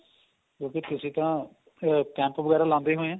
ਕਿਉਂਕਿ ਤੁਸੀਂ ਤਾਂ camp ਵਗੈਰਾ ਲਾਂਦੇ ਹੋਣੇਂ